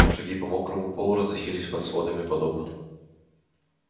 шаги по мокрому полу разносились под сводами подобно